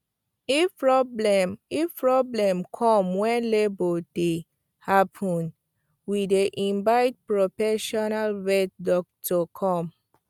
if problem if problem come when labour dey happen we dey invite profesional vet doctor come